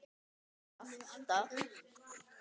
Brostir alltaf.